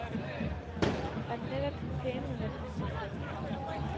Var det netop din pænhed, der kom til kort?